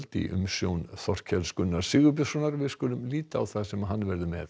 í umsjón Þorkels Gunnars Sigurbjörnssonar við skulum líta á það sem hann verður með